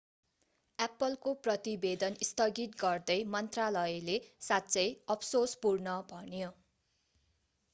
apple को प्रतिवेदन स्थगित गर्दै मन्त्रालयले साँच्चै अफसोसपूर्ण भन्यो